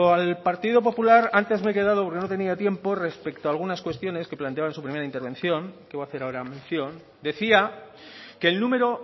al partido popular antes me he quedado porque no tenía tiempo respecto a algunas cuestiones que planteaba en su primera intervención que iba a hacer ahora mención decía que el número